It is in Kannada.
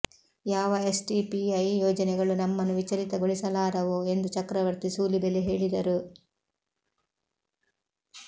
ಯಾವ ಎಸ್ಡಿಪಿಐ ಯೋಜನೆಗಳು ನಮ್ಮನ್ನು ವಿಚಲಿತಗೊಳಿಸಲಾರವು ಎಂದು ಚಕ್ರವರ್ತಿ ಸೂಲಿಬೆಲೆ ಹೇಳಿದರು